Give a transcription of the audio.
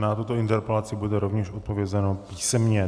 Na tuto interpelaci bude rovněž odpovězeno písemně.